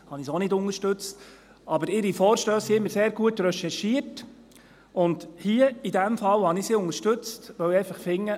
da habe ich sie auch nicht unterstützt, aber ihre Vorstösse sind immer sehr gut recherchiert, und in diesem Fall hier habe ich sie unterstützt, weil ich einfach finde: